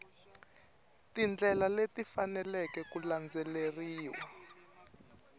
tindlela leti faneleke ku landzeriwa